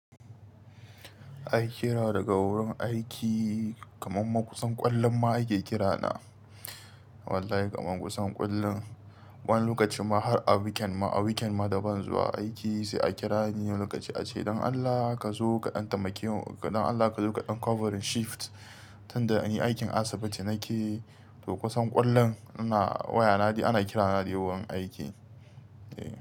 Ai kira daga wurin aiki kaman makusan ƙwallon ma ake kirana. Wallahi kaman kusan ƙullun. Wani lokacin ma har a weekend ma, a weekend ma daban zuwa aiki sai a kira ni wanni lokaci ace "Dan Allah ka zo kaɗan tamake mu, Dan Allah ka zo kaɗan covering shift tunda anyi aikin Asibiti ce nake" to kusan ƙullun ana wayana dai ana kirana ne da yawan aiki. Eh.